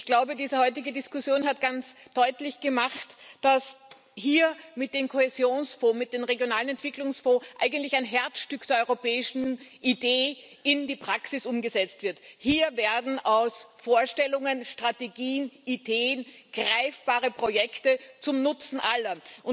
Ich glaube, diese heutige Diskussion hat ganz deutlich gemacht, dass hier mit den Kohäsionsfonds, mit den regionalen Entwicklungsfonds eigentlich ein Herzstück der europäischen Idee in die Praxis umgesetzt wird. Hier werden aus Vorstellungen Strategien, aus Ideen greifbare Projekte zum Nutzen aller.